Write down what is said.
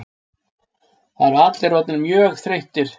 Það eru allir orðnir mjög þreyttir